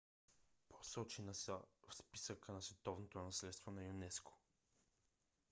посочени са в списъка на световното наследство на юнеско